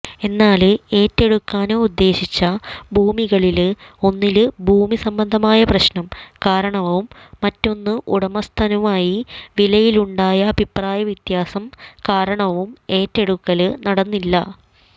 എന്നാല് ഏറ്റെടുക്കാന് ഉദ്ദേശിച്ച ഭൂമികളില് ഒന്നില് ഭൂമിസംബന്ധമായ പ്രശ്നം കാരണവും മറ്റൊന്ന് ഉടമസ്ഥനുമായി വിലയിലുണ്ടായ അഭിപ്രായവ്യതാസം കാരണവും ഏറ്റെടുക്കല് നടന്നില്ല